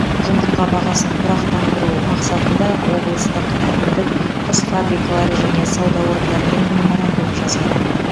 жұмыртқа бағасын тұрақтандыру мақсатында облыстық әкімдік құс фабрикалары және сауда орындарымен меморандум жасады